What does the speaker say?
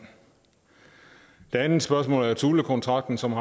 et andet spørgsmål er thulekontrakten som